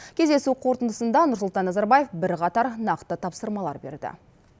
кездесу қорытындысында нұрсұлтан назарбаев бірқатар нақты тапсырмалар берді